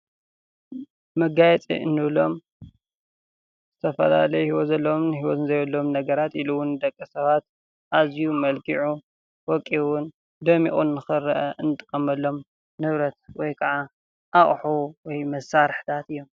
መጋየፂ እንብሎም ዝተፈላለዩ ሂወት ዘለዎምን ሂወት ዘይብሎምን ነገራት ኢሉውን ንደቂ ሰባት ኣዝዩ መልኪዑን ወቂቡን ደሚቁን ንክረአ እንጥቀመሎም ንብረት ወይክዓ ኣቅሑ ወይ መሳርሕታት እዮም፡፡